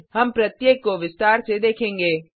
हम प्रत्येक को विस्तार से देखेंगे